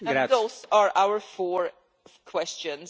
Those are our four questions.